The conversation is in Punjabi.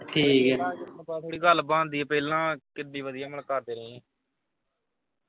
ਪਹਿਲਾਂ ਗੱਲ ਬਣਦੀ ਪਹਿਲਾਂ ਕਿੱਡੀ ਵਧੀਆ ਮੈਂ ਕਰ ਦੇਣੀ ਹੀ।